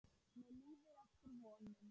Mér líður eftir vonum.